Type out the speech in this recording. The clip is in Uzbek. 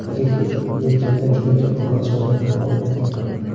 Negaki, yelkamda juda katta mas’uliyat bor edi.